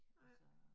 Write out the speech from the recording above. Nej